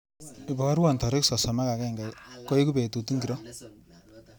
Iparwa tarik sosom ak agenge koeku betut ingoro.